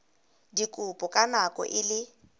dikopo ka nako e le